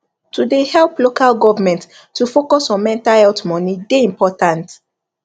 to de help local government to focus on mental health money de important